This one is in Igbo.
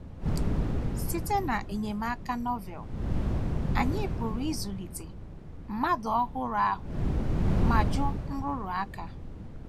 Site n’enyemaka Novel, anyị pụrụ ịzụlite “ mmadụ ọhụrụ ahụ ” ma jụ nrụrụ aka